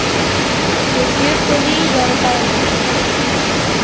Þau bjuggu víða í bænum.